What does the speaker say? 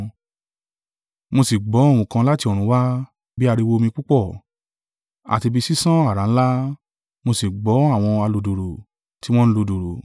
Mo sì gbọ́ ohùn kan láti ọ̀run wá, bí ariwo omi púpọ̀, àti bí sísán àrá ńlá, mo sì gbọ́ àwọn aludùùrù tí wọn ń lu dùùrù.